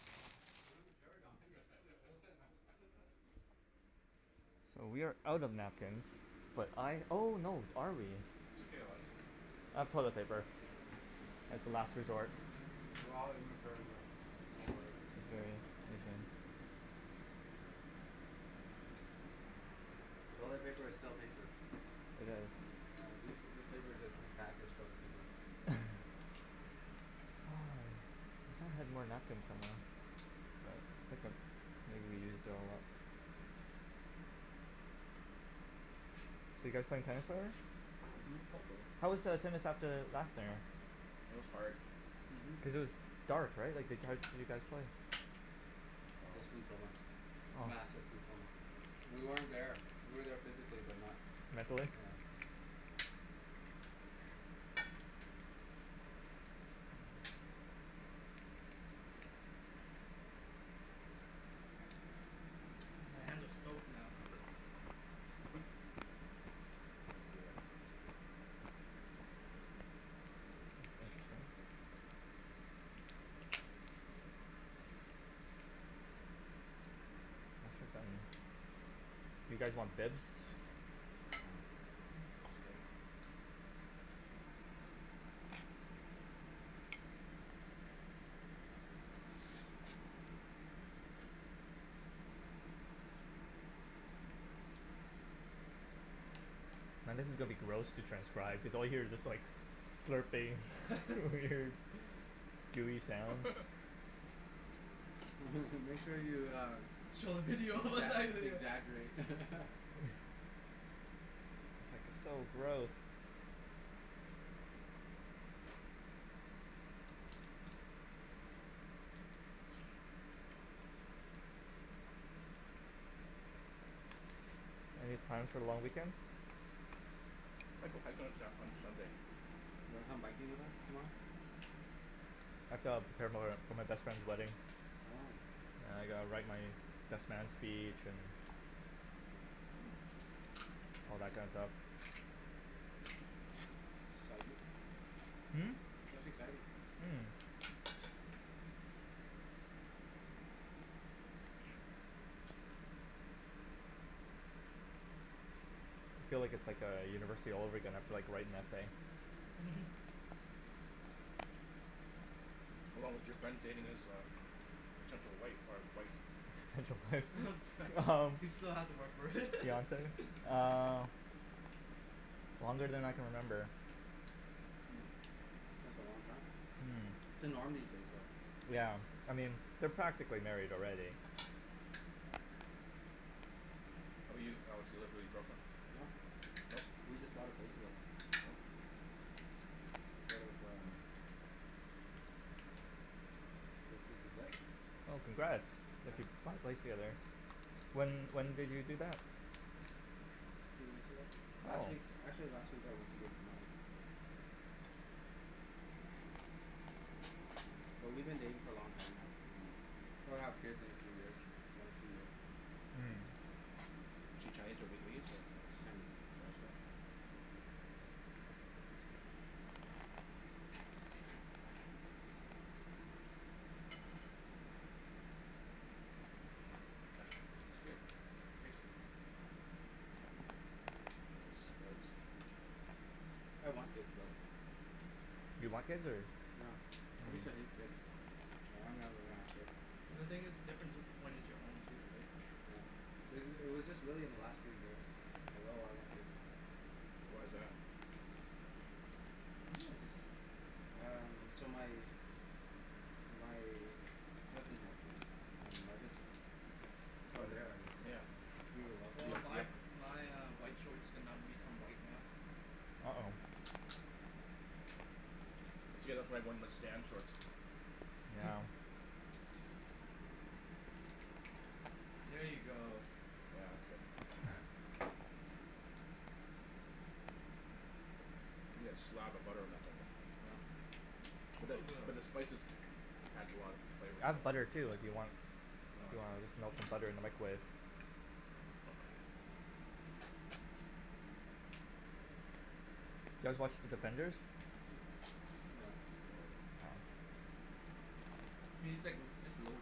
Real mature Don, you're supposed to be older than that So we are out of napkins, but I oh no, are we It's okay I'll have some. I have toilet paper as the last resort. We're all immature here, don't worry. It's very Asian. Toilet paper is still paper. I guess. Mm. Yeah, these, this paper is just repackaged toilet paper. Oh, I thought I had more napkins somewhere. Well. Hiccup. Maybe we used it a lot. So you guys playing tennis later? Mhm. Hopefully. How was the tennis at the It was hard. Mhm. Cuz it was dark right, like how did you guys play? Just food coma. Massive food coma. We weren't there. We were there physically, but not Mentally? Yeah. My hands are stoked now. Do you guys want bibs? It's fine. It's okay. Now this is gonna be gross to transcribe, cuz all you hear is just like, slurping weird gooey sounds. Make sure you uh Show the video exa- exaggerate So gross. Any plans for the long weekend? Might go hiking on Sa- on Sunday. Wanna come hiking with us tomorrow? I have to prepare for for my best friend's wedding. Oh. And I gotta write my best man's speech and Mm. all that kind of stuff. Exciting. Mm? Mhm. That's exciting. Feel like it's like a university all over again, you have to like write an essay. How long was your friend dating this uh potential wife or wife? Potential wife He still has to work for it Fiance, uh, longer than I can remember. Hm, that's a long time. That's the norm these days though. Yeah, I mean, they're practically married already. How 'bout you Alex, you live with your girlfriend? No, No? but we just bought a place together. Oh. Sort of um, I guess this is it. Well congrats, Yeah. if you bought a place together. When when did you do that? Two weeks ago. Last week, Oh! actually, last week I went to give the money. But we've been dating for a long time Mm. now. Probably gonna have kids in a few years. One or two years. Mm. Is she Chinese or Vietnamese? She's Chinese. Nice girl It's good. Tasty. I want kids though. You want kids or? No. I used to hate kids. Mm. I never gonna have kids. Well the thing is, difference whe- when it's your own too right. Yeah. It was just it was just really in the last few years like oh I want kids now. Why's that? Maybe I'm just, um, so my my cousin has kids, and I just, from there I just, yeah, like we have a lot of Well kids my uh yeah. my uh white shorts did not become white now. Oh. Yeah. Here you go. Yeah that's good. You gotta slab the butter on that thing Oh. But but it's the still good but the spices though. adds a lot of flavor I have butter to too it. if you want. No If you wanna it's melt okay. some butter in the Mm. microwave. Do you guys watch The Defenders? No. No no. What do you think, just low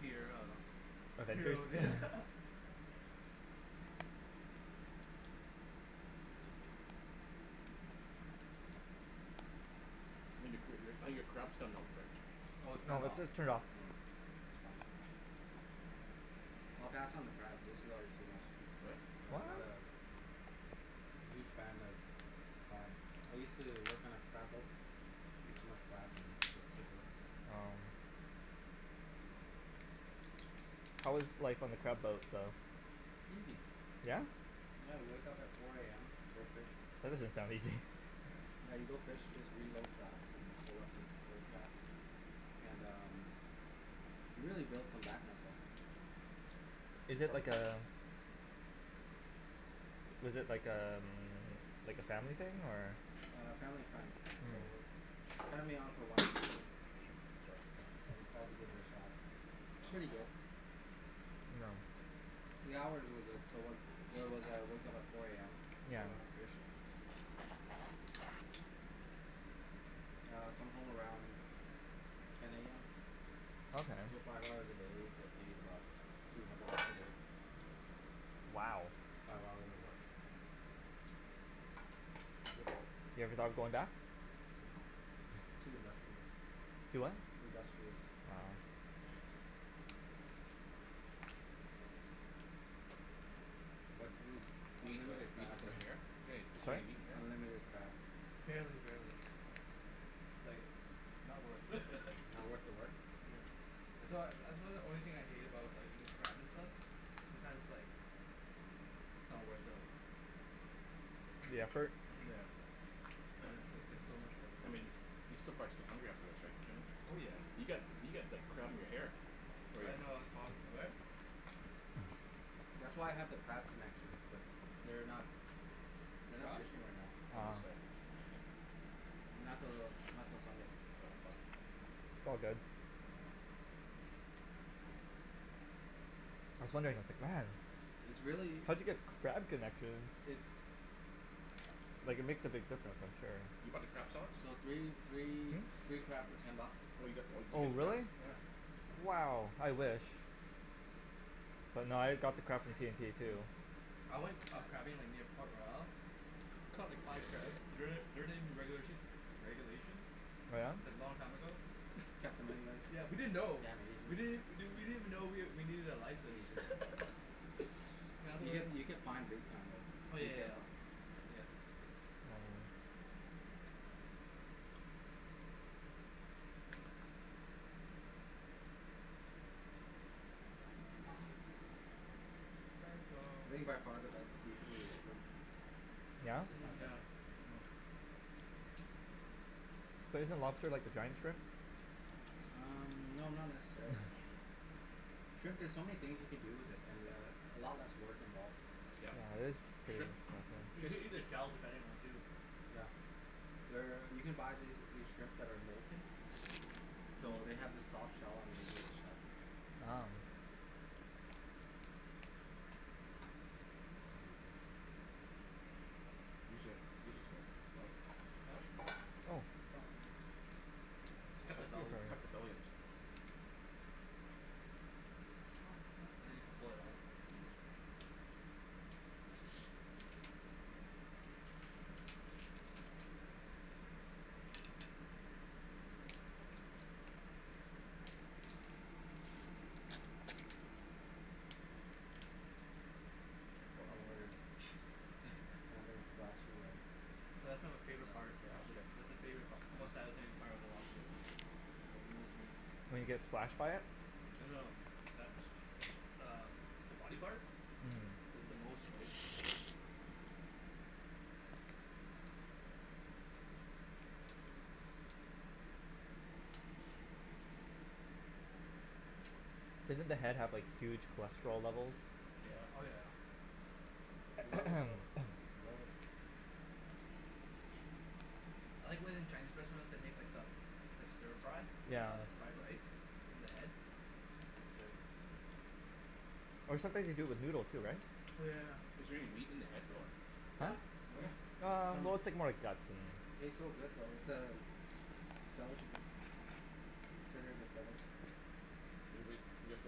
tier uh Avengers? Heroes I think your cr- I think your crab's done now Rick. Oh it's No turned it's off. just It's turned off. Mm. fine. I'll pass on the crab, this is already too much. Really? What? I'm not a huge fan of crab. I used to work on a crab boat, ate too much crab and got sick of it. Oh. How was life on the crab boat though? Easy. Yeah? I had to wake up at four AM, go fish, That doesn't sound easy yeah you go fish, just reload traps and pull up old traps and um, you really build some back muscle. Is it like a, is it like a, like a family thing or A family friend. So, they signed me on for one season, Good job. I decided to give it a shot. Pretty good. The hours were good, so where where was I, I woke up at four AM, Yeah. caught lots of fish. I'd come home around ten AM, Okay. so five hours a day, get paid about two hundred bucks a day. Wow. Five hours of work. Yep. You ever thought of going back? No, it's too industrious. Too what? Industrious. Wow. But, we eat Is there unlimited crab right. any, is there Sorry? any meat in here? Unlimited crab. Barely. No, Mm. it's like, not worth. Not worth the work? Yeah. That's why, that's why the only thing I hate about like eating crab and stuff, sometimes like, it's not the worth the mm The effort? Yeah. It's like so much I workload. mean, you're still prob still hungry after this right Jimmy? Oh yeah. You've got, you've got like crab in your hair. Oh I yeah. didn't know I was prob- where? That's why I have the crab connections, but, they're not, Is they're it not gone? fishing right now. No, Uh Um. this side. not till, not till Sunday. It's all good. I was wondering It's really, how'd you get crab connections it's Like it makes a big difference I'm You sure. bought the crab sauce? So three, three, Hm? three crab for ten bucks. Oh you got, oh did you Oh get the crab really? Yeah. sauce. Mm. Wow, I wish. But nah I got the crab from T&T too. I went uh crabbing like near Port Royal, caught like five crabs. Don't they don't they regula- regulation? Oh yeah? It's like long time ago. Caught them anyways. Yeah, Damn we didn't know. We Asians. didn't we didn't even know we needed a license. Asians. You get you get fined big time Oh though. yeah Be yeah yeah. careful. Yeah. I think by far the best seafood is shrimp. Yeah? That's just Mm my yeah. preference. But isn't lobster like a giant shrimp? Um no not necessarily. Shrimp there's so many things you can do with it, and uh a lot less work involved. You can eat the shells depending on too. Yeah. There, you can buy these shrimp that are molting so they have the soft shell underneath the shell. Wow. Use your, use your Huh? Oh. Cut the belly. Cut the belly into it. Oh huh. Now you can pull it out. Don't worry I'm not gonna splash you guys. That's like my favorite, part, actually, that's my favori- part, most satisfying part of the lobster, like the most meat. When you get splashed by it? Well no, that's, that's uh the body part? Mhm. Cuz it's the most right. Doesn't the head have like huge cholesterol levels? Oh yeah. I love it though, I love it. I like when in Chinese restaurants, they make like a, like a stir fry, Yeah. of fried rice, in the head? It's good. Or sometimes they do it with noodle too right? Oh yeah yeah yeah. Is there any meat in the head though? Huh? Yeah! There's Ah, some, well it's like more like guts and it tastes so good though. It's uh, a delicacy. Considered a delicacy. You're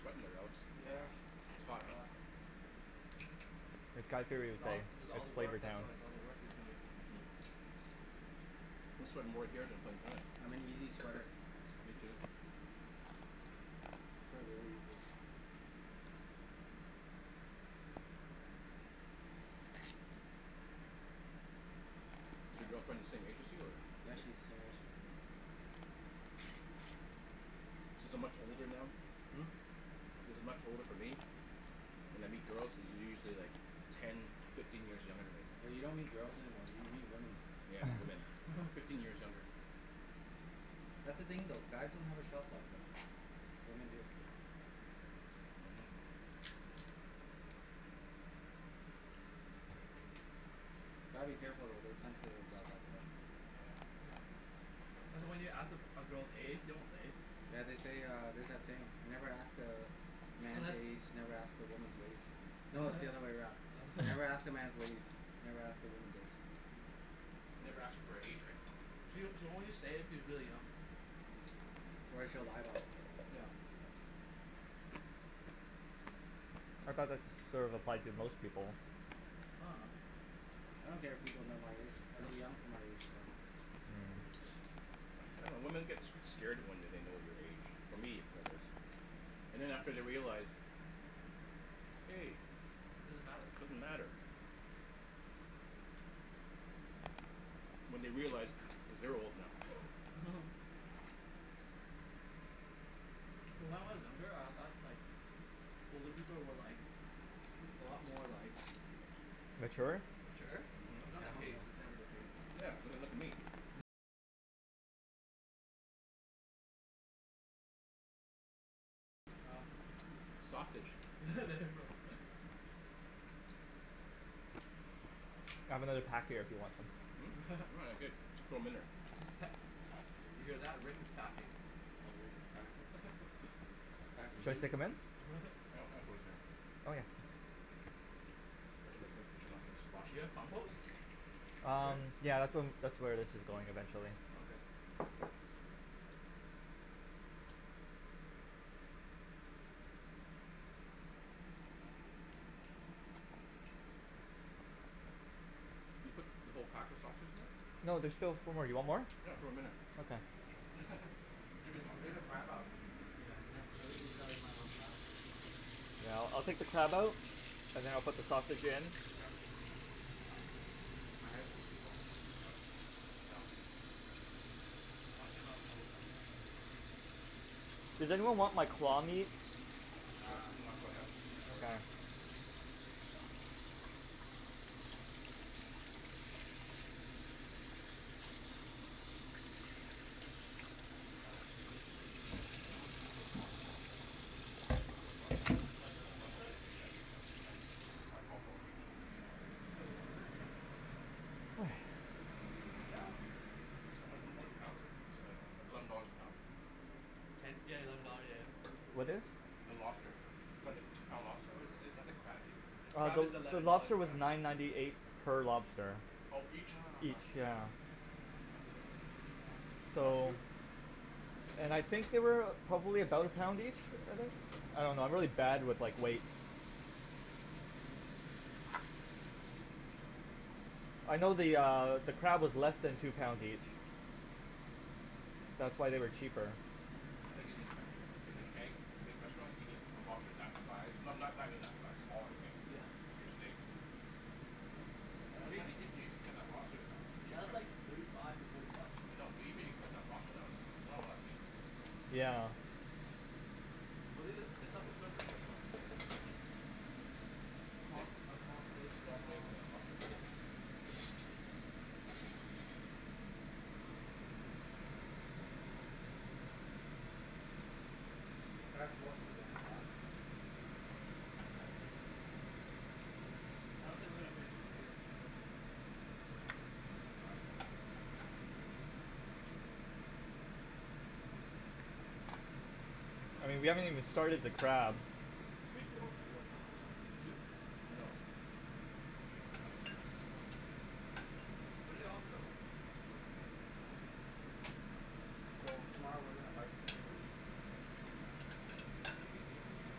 sweating there Alex. Yeah. It's hot huh. It's got It's all, it's all it's the work flavored now. that's why, it's all the work he's doing. Mhm. I'm sweating more here than in tennis. I'm an easy sweater. Me too. I sweat really easy. Is your girlfriend the same age as you or? Yeah, she's the same age. Mhm. Since I'm much older now, Hm? since there's not much older for me, when I meet girls they're usually like ten, fifteen years younger than me. Yeah you don't meet girls anymore, you meet women. Yeah women, fifteen years younger. That's the thing though. Guys don't have a shelf life though. Women do. Mhm. Gotta be careful though, they're sensitive about that stuff. Yeah. Yeah. That's why when you ask, a a girl's age, they won't say. Yeah they say uh, there's that saying. Never ask a man's age, never ask a woman's wage. No it's the other way around, never ask a man's wage, never ask a woman's age. Mm. Never ask her for her age right. She'll she'll only say it if she's really young. Or she'll lie about it. Yeah. I thought that's sort of applied to most people. I don't care if people know my age, I look young for my age so I dunno, women get s- scared when they know your age, for me anyways. And after they realize, hey, it doesn't matter. When they realize, cuz they're old now When I was younger, I thought like, older people were like, a lot more like, Mature? mature, It's not the Hell case, no. it's never the case now. Sausage. There we go. I have another pack here if you want them. Hm? Oh that's good, just throw 'em in there. He's pa- did you hear that, Rick is packing. Yeah, Rick is packing. He's packing Should I heat. stick them in? I throw Okay. this in there already Do you have compost? Um, Here? yeah, that's whe- um that's where this is going eventually. Okay. Did you put the whole pack of sausage there? No, there's still four more, you want more? Yeah, throw 'em in there. Okay. Jimmy's Ta- still hungry take the right? crab out, Yeah. I think these guys might want crab. Yeah, I'll I'll take the crab out? And then I'll put the sausage in. Yeah. Ah, my headphones keep falling out. Yeah. Does anyone want like claw meat? Nah, That's okay. too much work. How much, how much, did each those lobster cost then? Twenty bucks? No no no then yeah, ten t- ten or twelve dollars each? Fifteen dollars each? For the lobster? Yeah. Yeah How h- how how much a pound is it? Eleven dollars a pound? Ten? Yeah eleven dollar, yeah yeah What is? The lobster. Is that the two pound lobster? Or is that, is that the crab, the Uh crab the is the eleven dollars lobster a was pound. nine ninety eight per lobster. Ah Oh each? huh. Each, yeah. That's pretty good, that's not bad. That's So, cheap! and I think they weigh about, probably about a pound each? I think? I dunno, I'm really bad with like, weights. Mm. I know the uh, the crab is less than two pounds each. That's why they were cheaper. I think in like the Keg, steak restaurants, you get a lobster for that size, no- no- not even that size, smaller right, Yeah. with your steak Yeah but that's Even even even if you cut the lobster down, even if li- , you that's cut, like thirty five to forty bucks. I know, but even if you cut the lobster down, there's s- not a lot of meat here. Yeah. Yeah. Well it's it's a, that's a surf and turf menu Mhm right Steak, a small steak and a small steaks small and a lobster lobster, right yeah? That was more food than I thought. Huh? Yeah. I don't think we're gonna finish the potatoes for sure. Even crab. I mean, we haven't even started the crab. drink yo- , your soup? No. I'm drinking the soup. Oh, where'd it all go? I threw it in there. So, tomorrow we're gonna bike to UBC. Mm And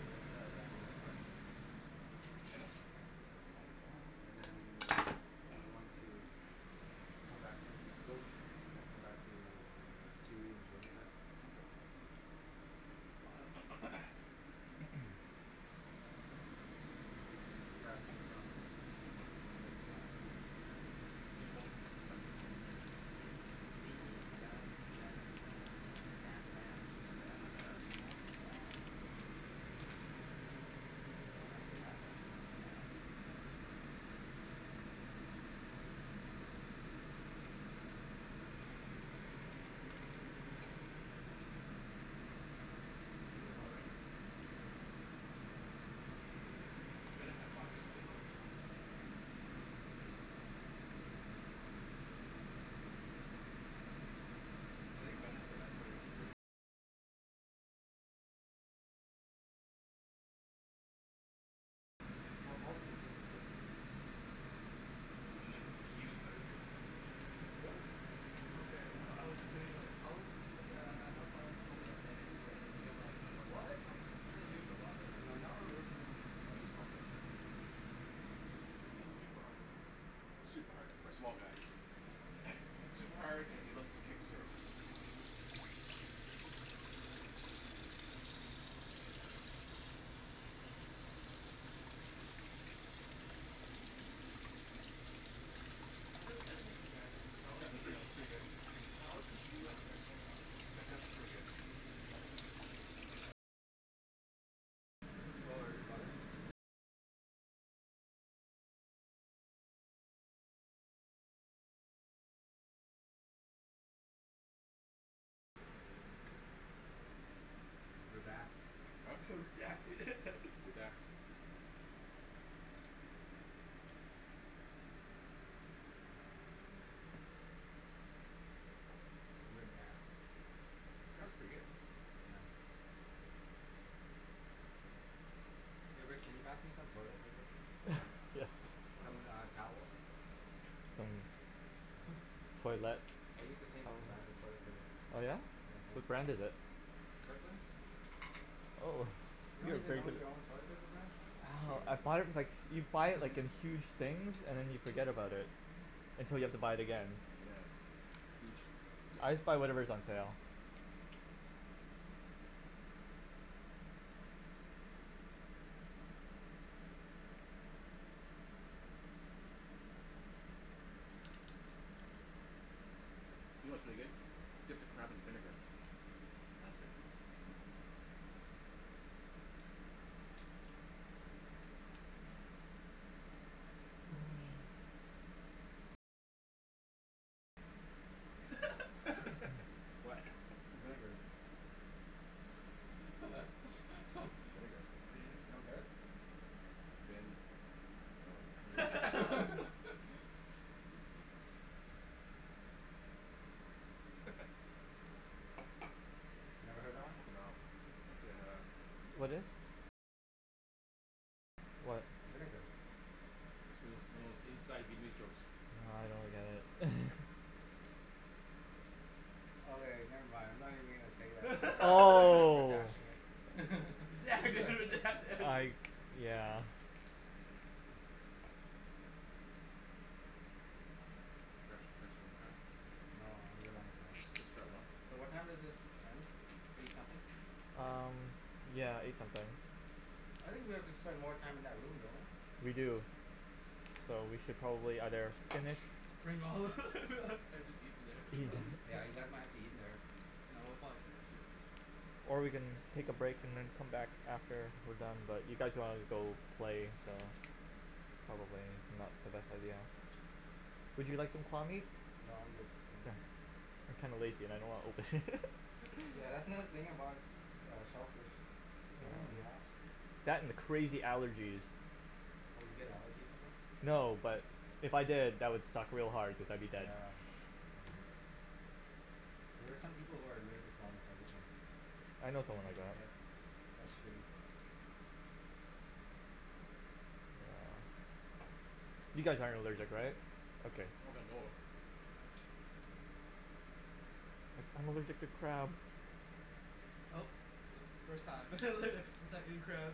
we're going to play at Vanier park. Tennis? Mhm Yeah, and then, we're going to come back to go eat, and then come back to q e and Jordan's house. Okay Should grab Jimmy on the way, Hm? I know he doesn't drive. Who's going biking tomorrow? Me, Bennett, Jen, and uh Stan the man. Stan the man Stan the man! Don't mess with that guy, he's the man. Is it really hot right now? No Bennett has lots of spin on his shots. Mhm Well Paul's consistent right Mm And and then Y- Yu's better too. Really? Okay, I I was debating like how good, cuz then I I thought someone once told me that Bennett is better than Yu, I'm like, No no no, "What?", no no, I Yu's thought better. Yu is a Well lot better. right now Yu's a lot better. He hits, he hits super hard man Super hard, for a small guy super hard, and he loves his kick serve How does Desmond compare then? Cuz I always Desmond's see pretty uh, pretty good, I always see Yu and Desmond uh yeah, Desmond's pretty good. Yeah. Oh are they brothers? Redact Huh? Redact it Redact. Crab's pretty good. Yeah. Hey Rick can you pass me some toilet paper please? Yes. Some uh, towels? Some, toilette. I use the same brand of toilet paper. Oh yeah? Yeah, What thanks. brand is it. Kirkland? Oh, You you don't have even grea- know your own toilet paper brand? , oh, I buy it with like, you buy it like in huge things and then you forget about it. Until you have to buy it again. Yeah, huge I just buy discount. whatever is on sale. You know what's really good? Dip the crab in vinegar. Mm Holy shit. What? Vinegar. Vinegar You don't Vin get it? Vin, oh. Never heard that one? No, can't say I have. What is? What? Vinegar It's one of Vietnamese inside jokes. Nah I don't get it Okay never mind, I'm not even going to say that, you all are Oh! bashing it I, yeah. grab some more crab. No, I'm good on crab. Just just try one. So what time is this done? Eight something? Um, yeah, eight something. I think we have to spend more time in that room, don't we? We do, so we should probably either finish Bring all and just eat it eating. No there Yeah, you guys might have to eat in there. No we'll probably finish soon. Or we can take a break and then come back after we're done but you guys wanna go play, so, probably not the best idea. Would you like some claw meat? No, I'm good. I'm kinda lazy and I don't wanna open it. That's the thing about uh shellfish, it's a pain in the ass. That and the crazy allergies Oh you get allergies from them? No, but if I did, that would suck real hard cuz I'd be dead. Yeah. There are some people who are allergic to almost everything. I know someone like that. That's, that's shitty. You guys aren't allergic, right? Okay. Not that I know of. Nah. I'm allergic to crab! Oh, first time first time eating crab